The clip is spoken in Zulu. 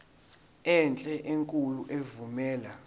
enhle enkulu evumela